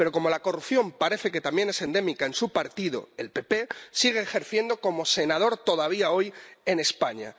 Pero como la corrupción parece que también es endémica en su partido —el PP—, sigue ejerciendo como senador todavía hoy en España.